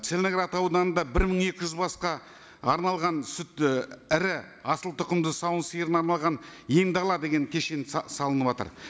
целиноград ауданында бір мың екі жүз басқа арналған сүт і ірі асылтұқымды сауын сиырына арналған ен дала кешен салыныватыр